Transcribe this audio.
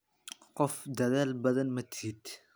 Qof Dadaal badan ma tihid.